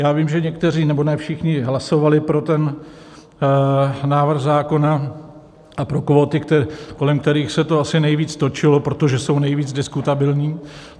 Já vím, že někteří - nebo ne všichni - hlasovali pro ten návrh zákona a pro kvóty, kolem kterých se to asi nejvíc točilo, protože jsou nejvíc diskutabilní.